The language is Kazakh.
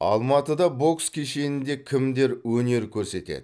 алматыда бокс кешенінде кімдер өнер көрсетеді